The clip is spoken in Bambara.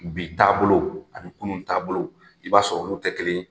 Bi taabolo ani kunun taabolo, i b'a sɔrɔ olu tɛ kelen ye.